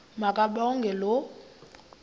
ma kabongwe low